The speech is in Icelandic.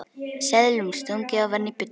Seðlum stungið ofan í buddu.